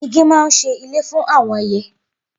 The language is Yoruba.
Igi máa ń ṣe ilé fún àwọn ẹyẹ